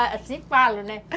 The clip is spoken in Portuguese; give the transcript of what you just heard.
Assim falo, né?